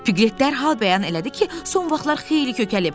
Piqlet dərhal bəyan elədi ki, son vaxtlar xeyli kökəlib.